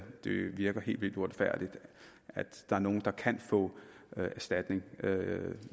det virker helt vildt uretfærdigt at der er nogle der kan få erstatning